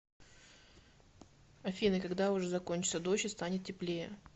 афина когда уже закончится дождь и станет теплее